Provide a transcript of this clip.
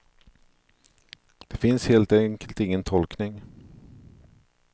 Det finns helt enkelt ingen tolkning.